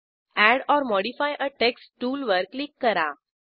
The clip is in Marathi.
add or modify a text टूलवर क्लिक करा